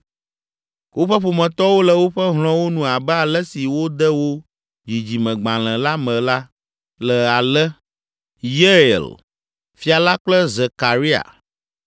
Woƒe ƒometɔwo le woƒe hlɔ̃wo nu abe ale si wode wo dzidzimegbalẽ la me la, le ale: Yeiel, fia la kple Zekaria